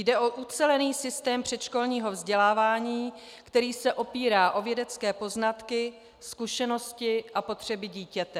Jde o ucelený systém předškolního vzdělávání, který se opírá o vědecké poznatky, zkušenosti a potřeby dítěte.